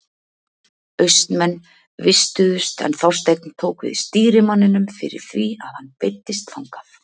Austmenn vistuðust en Þorsteinn tók við stýrimanninum fyrir því að hann beiddist þangað.